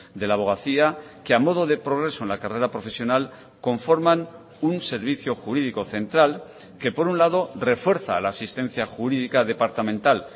de la abogacía que a modo de progreso en la carrera profesional conforman un servicio jurídico central que por un lado refuerza la asistencia jurídica departamental